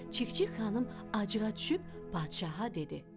Çik-çik xanım acığa düşüb padşaha dedi: